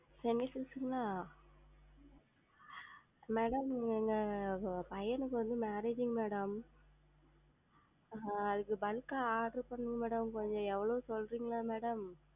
Chennai Silks ங்களா? Madam எங்க பையனுக்கு வந்து Marriage ங்க madam அதுக்கு Bulk ஆ Order பண்ணனும் madam கொஞ்சம் எவ்வளவு சொல்றீர்ங்களா? Madam